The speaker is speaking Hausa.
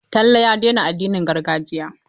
Talle ya daina addinin gargajiya.